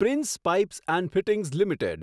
prince Pipes and Fittings limited